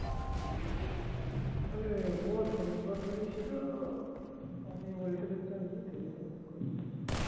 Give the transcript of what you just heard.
অরে ওর phone দরকারি ছিল আমি ওই হিসাবে চাইনি সেই জন্য ফোন করেছিল